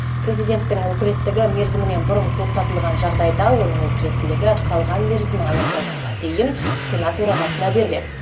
президенттің өкілеттігі мерзімінен бұрын тоқтатылған жағдайда оның өкілеттілігі қалған мерзімі аяқталғанға дейін сенат төрағасына беріледі